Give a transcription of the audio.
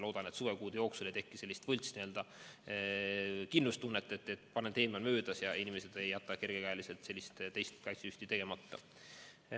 Loodan, et suvekuude jooksul ei teki sellist võltskindlustunnet, et pandeemia on möödas, ja inimesed ei jäta kergekäeliselt teist kaitsesüsti tegemata.